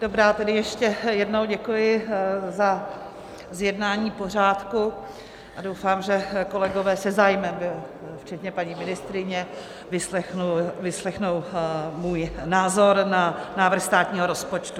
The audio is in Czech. Dobrá, tedy ještě jednou děkuji za zjednání pořádku a doufám, že kolegové se zájmem - včetně paní ministryně - vyslechnou můj názor na návrh státního rozpočtu.